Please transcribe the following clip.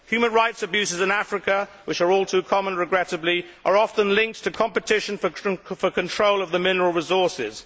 Human rights abuses in Africa, which are all too common regrettably, are often linked to competition for the control of mineral resources.